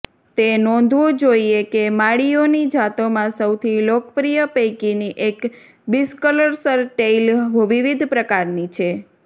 તે નોંધવું જોઈએ કે માળીઓની જાતોમાં સૌથી લોકપ્રિય પૈકીની એક બિસ્કર્સહ્ટેઇલ વિવિધ પ્રકારની છે